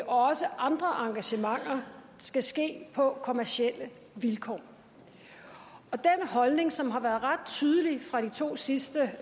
også andre engagementer skal ske på kommercielle vilkår og den holdning som har været ret tydelig fra de to sidste